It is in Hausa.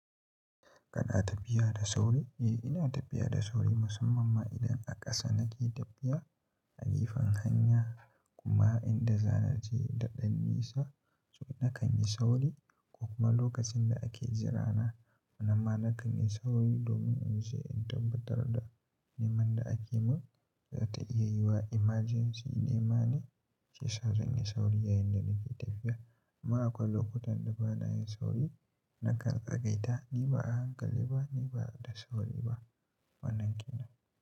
Kana tafiya da sauri? Eh, ina tafiya da sauri musamman ma idan a ƙasa nake tafiya a gefen hanya kuma inda zanaje da ɗan nisa nakan yi sauri ko kuma lokacin da ake jirana. Nan ma nakan yi sauri domin in ce in tabbatar da neman da ake mun za ta iya yiwa emergency nema ne. Shiyasa zan yi sauri yayinda nake tafiya. Amma akwai lokutan da bana yin sauri nakan tsagaita ni ba a hankali ba, ni ba da sauri ba wannan kenan.